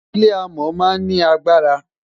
ilé amò má n ni agbara